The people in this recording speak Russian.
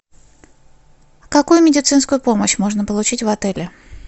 какую медицинскую помощь можно получить в отеле